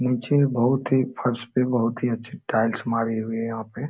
नीचे बहुत ही फर्श पे बहुत ही अच्छे टाइल्स मारी हुई है यहाँ पे।